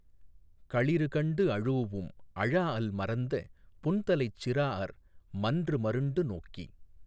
களிறுகண்டு அழூஉம் அழாஅல் மறந்த புன்தலைச் சிறாஅர் மன்றுமருண்டு நோக்கி